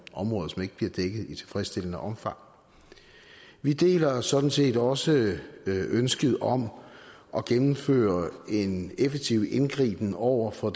områder som ikke bliver dækket i tilfredsstillende omfang vi deler sådan set også ønsket om at gennemføre en effektiv indgriben over for